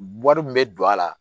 Wari min bɛ don a la